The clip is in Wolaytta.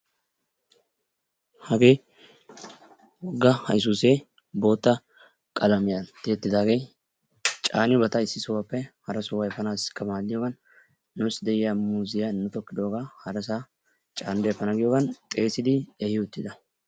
Hagee wogga haysuusee bootta qalamiyan tiyettidaagee caaniyobata issi sohuppe hara sohuwaa efanaasiikka maadiyogan nuussi de'yaa muuzziya nu tokkidoogaa harasaa caanidi efana giyogaan xeesidi ehi uttida.